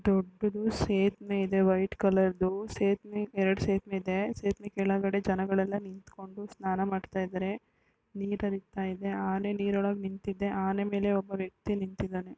ದೊಡ್ಡದ್ದು ಸೇತುವೆ ಇದೆ white colour ದು ಸೇತುವೆ ಎರಡು ಸೇತುವೆ ಇದೆ. ಸೇತುವೆ ಕೆಳಗಡೆ ಜನಗಳೆಲ್ಲ ನಿಂತು ಸ್ನಾನ ಮಾಡ್ತಾ ಇದಾರೆ. ನೀರು ಹರಿತಿದೆ ಆನೆ ನೀರೊಳಗೆ ನಿಂತಿದೆ ಆನೆ ಮೇಲೆ ಒಂದು ವ್ಯಕ್ತಿ ನಿಂತಿದಾನೆ.